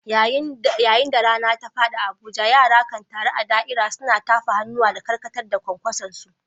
Yayin da rana ta faɗi a Abuja, yara kan taru a da’ira, suna tafa hannuwa da karkatar da kwankwasonsu.